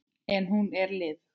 En hún er liðug.